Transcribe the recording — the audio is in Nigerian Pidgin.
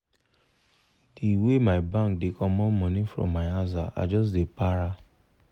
the way my bank dey comot money from my aza i just dey para